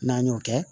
N'an y'o kɛ